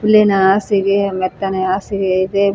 ಹುಲ್ಲಿನ ಹಾಸಿಗೆ ಮೆತ್ತನೆ ಹಾಸಿಗೆ ಇದೆ ಮತ್ತು--